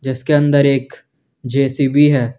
जिसके अंदर एक जे_सी_बी है।